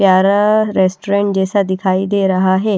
प्यारा रेस्टोरेंट जैसा दिखाई दे रहा है।